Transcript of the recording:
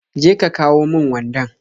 Je ka ka kawon mun wandan